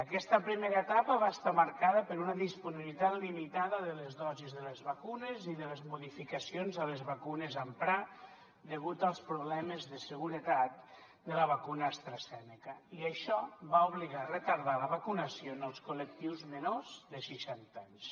aquesta primera etapa va estar marcada per una disponibilitat limitada de les dosis de les vacunes i de les modificacions a les vacunes a emprar degut als problemes de seguretat de la vacuna astrazeneca i això va obligar a retardar la vacunació en els col·lectius menors de seixanta anys